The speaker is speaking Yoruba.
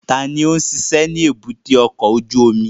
Ta ló ń ṣiṣẹ́ ní èbúté ọkọ̀ ojú omi?